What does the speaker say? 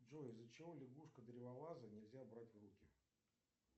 джой из за чего лягушку древолаза нельзя брать в руки